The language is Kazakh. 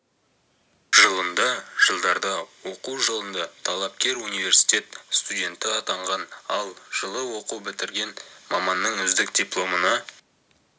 жылында жылдарда оқу жылында талапкер университет студенті атанған ал жылы оқу бітірген маманның үздік дипломына